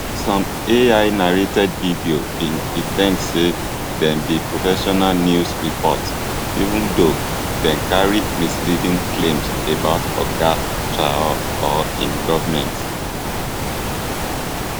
some ainarrated videos bin pre ten d say dem be professional news reports even though dem carry misleading claims about oga traor or im goment